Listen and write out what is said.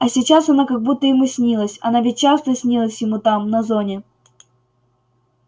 а сейчас она как будто ему снилась она ведь часто снилась ему там на зоне